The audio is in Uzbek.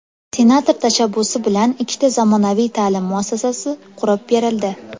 Senator tashabbusi bilan ikkita zamonaviy ta’lim muassasasi qurib berildi.